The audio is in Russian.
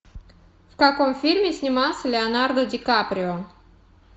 в каком фильме снимался леонардо ди каприо